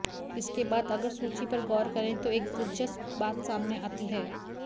इसके बाद अगर सूची पर ग़ौर करें तो एक दिलचस्प बात सामने आती है